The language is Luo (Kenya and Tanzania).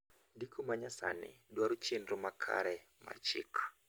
ndiko ma nyasani dwaro chenro makare mar chik